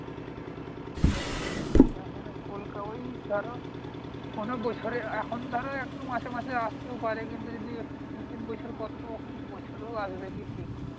ইয়ে মানে কোলকাতাই ধর কোন বছরে এখন ধর একদম মাঝে মাঝে আসতেও পারে। কিন্তু, যদি দুই-তিন বছর পর তো দুবছরেও আসবে কি ঠিক নেই।